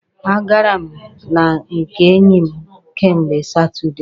A gara m na nke enyi m kemgbe Satudee.